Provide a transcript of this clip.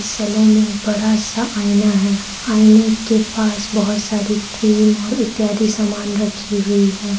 Salon में एक बड़ा सा आईना है आईने के पास बहुत सारी क्रीम और इत्यादि समान रखी हुई है।